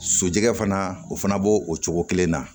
Sojɔ fana o fana b'o o cogo kelen na